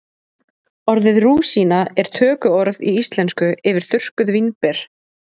orðið rúsína er tökuorð í íslensku yfir þurrkuð vínber